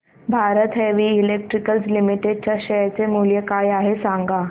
Bharat heavy electricals limited च्या share चे मूल्य काय आहे सांगा